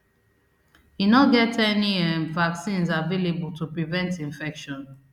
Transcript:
e no get any um vaccines available to prevent infection